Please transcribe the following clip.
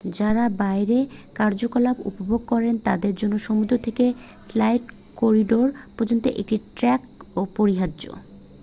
যারা বাইরের কার্যকলাপ উপভোগ করেন তাদের জন্য সমুদ্র থেকে স্কাই করিডোর পর্যন্ত একটি ট্রেক অপরিহার্য